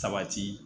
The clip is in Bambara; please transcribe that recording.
Sabati